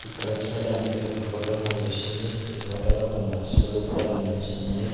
ఇక్కడ చూడడానికి ఒక ఫోటో కనిపిస్తుంది ఈ ఫోటోలో కొన్ని వస్తువులు కూడా కనిపిస్తున్నాయి.